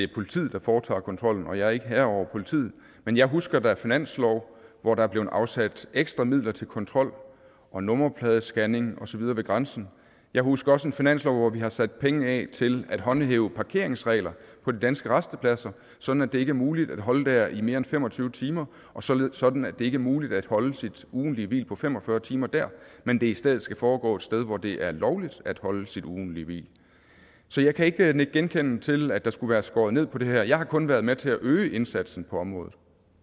er politiet der foretager kontrollen og jeg er ikke herre over politiet men jeg husker da en finanslov hvor der blev afsat ekstra midler til kontrol og nummerpladescanning og så videre ved grænsen jeg husker også en finanslov hvor vi har sat penge af til at håndhæve parkeringsregler på de danske rastepladser sådan at det ikke er muligt at holde der i mere end fem og tyve timer og sådan sådan at det ikke er muligt at holde sit ugentlige hvil på fem og fyrre timer der men det i stedet skal foregå et sted hvor det er lovligt at holde sit ugentlige hvil så jeg kan ikke nikke genkendende til at der skulle være skåret ned på det her jeg har kun været med til at øge indsatsen på området